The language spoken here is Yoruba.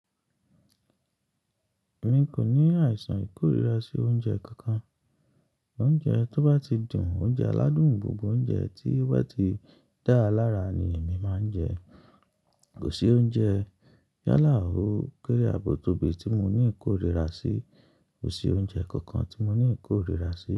Mi kò ní àìsàn ìkórìíra sí oúnjẹ kankan. Oúnjẹ tó bá ti dùn, oúnjẹ aládùn, gbogbo oúnjẹ tí ó bá ti dáa lára ni èmi máa ń jẹ. Kò sí oúnjẹ yálà ò kéré àbò tóbi tí mo ní ìkórìíra sí. Kò sí oúnjẹ kankan tí mo ní ìkórìíra sí.